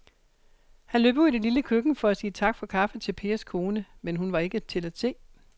Han løb ud i det lille køkken for at sige tak for kaffe til Pers kone, men hun var ikke til at se.